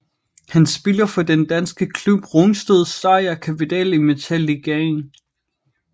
Han spiller for den danske klub Rungsted Seier Capital i Metalligaen